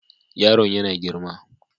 Yaron yana girma.